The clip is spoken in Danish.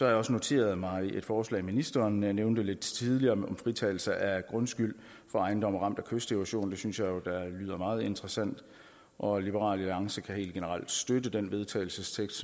jeg også noteret mig et forslag ministeren nævnte lidt tidligere om fritagelse af grundskyld for ejendomme ramt af kysterosion det synes jeg lyder meget interessant og liberal alliance kan helt generelt støtte den vedtagelsestekst